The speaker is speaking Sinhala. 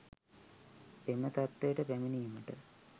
එම තත්ත්වයට පැමිණීමට